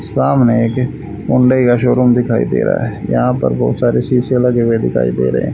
सामने एक हुंडई का शोरूम दिखाई दे रहा है यहां पर बहुत सारे शीशे लगे हुए दिखाई दे रहे हैं।